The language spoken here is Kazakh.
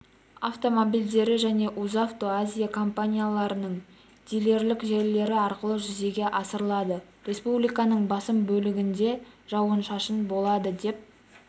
автомобильдері және узавто азия компанияларының дилерлік желілері арқылы жүзеге асырылады республиканың басым бөлігінде жауын-шашын болады деп